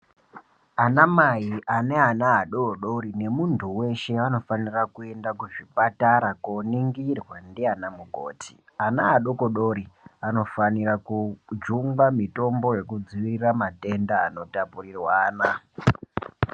Ana mai ane ana adodori nemuntu weshe anofanirwa kuenda kuzvipatara koningirwa ndianamukoti. Ana adodori anofanirwa kujungwa mitombo yekudzivirira matenda anotapurirwana.